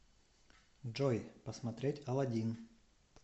джой посмотреть алладин